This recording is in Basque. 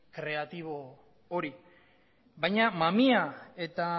kreatibo hori baina mamia eta